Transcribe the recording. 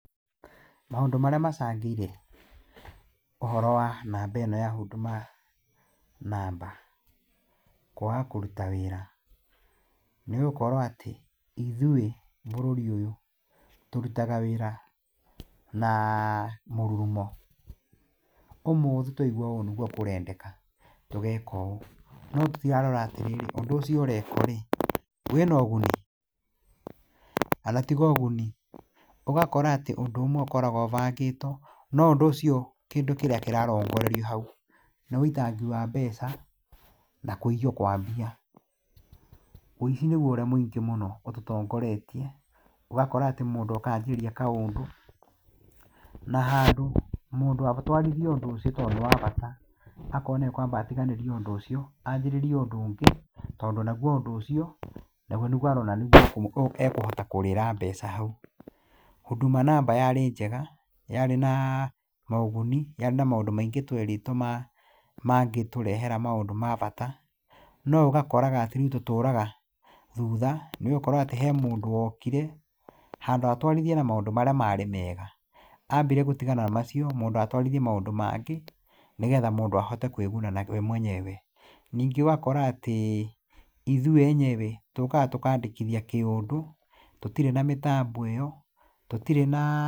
Maũndũ marĩa macangĩire ũhoro wa namba ĩno ya Huduma namba kwaga kũruta wĩra nĩgũkorwo atĩ, ithuĩ bũrũri ũyũ tũrutaga wĩra naa mũrurumo. Ũmũthĩ twaigua ũũ nĩguo kũrendeka tũgeka ũũ, no tũtirarora atĩrĩrĩ ũndũ ũcio ũrekwo-rĩ, wĩna ũguni. Ona tiga ũguni, ũgakora atĩ ũndũ ũmwe ũkoragwo ũbangĩtwo, no ũndũ ũcio kĩndũ kĩrĩa kĩrarongorerio hau nĩ wĩitangi wa mbeca na kũiywo kwa mbia. Ũici nĩguo ũrĩa mũingĩ mũno ũtũtongoretie. Ũgakora atĩ mũndũ oka anjĩrĩria kaũndũ, na handũ mũndũ atwarithie ũndũ ũcio tondũ nĩwabata, akona ekwamba atiganĩrie ũndũ ũcio, anjĩrĩrie ũndũ ũngĩ, tondũ naguo ũndũ ũcio naguo nĩguo ekũhota kũrĩra mbeca hau. Huduma namba yarĩ njega, yarĩ naa na ũguni, yarĩ na maũndũ maingĩ twerĩtwo mangĩtũrehera maũndũ ma bata, no ũgakoraga atĩ rĩu tũtũraga thutha. Nĩgũkorwo atĩ he mũndũ wokire, handũ ha atwarithie na maũndũ marĩa marĩ mega, ambire gũtigana na macio, mũndũ atwarithie maũndũ mangĩ, nĩgetha mũndũ ahote kwĩguna we mwenyewe. Ningĩ ũgakora atĩ, ithuĩ enyewe, tũkaga tũkandĩkithia kĩũndũ tũtirĩ na mĩtambo ĩyo, tũtirĩ na.